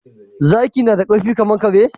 Zaki nada karfi kaman kare?